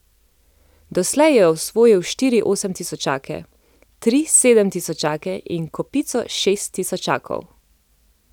Doslej je osvojil štiri osemtisočake, tri sedemtisočake in kopico šesttisočakov.